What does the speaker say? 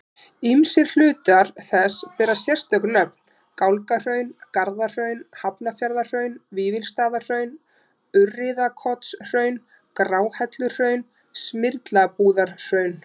Ýmsir hlutar þess bera sérstök nöfn, Gálgahraun, Garðahraun, Hafnarfjarðarhraun, Vífilsstaðahraun, Urriðakotshraun, Gráhelluhraun, Smyrlabúðarhraun.